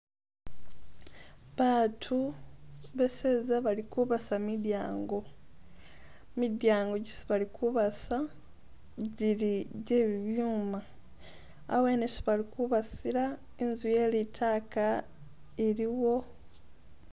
Baatu beseza bali kubasa midyango, midyango gyisi bali kubasa gyili gye bibyuma, awene isi bali kubasila inzu ye litaaka iliwo